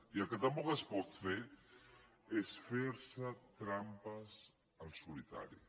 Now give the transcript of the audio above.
i el que tampoc es pot fer és fer se trampes al solitari